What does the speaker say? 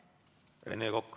Rene Kokk.